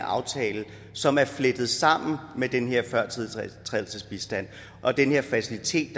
aftale som er flettet sammen med den her førtiltrædelsesbistand og den her facilitet